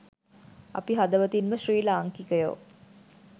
අපි හදවතින්ම ශ්‍රී ලාංකිකයෝ